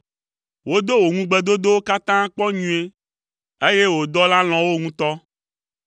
Wodo wò ŋugbedodowo katã kpɔ nyuie, eye wò dɔla lɔ̃ wo ŋutɔ.